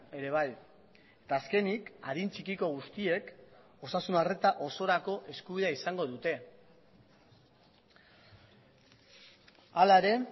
ere bai eta azkenik adin txikiko guztiek osasun arreta osorako eskubidea izango dute hala ere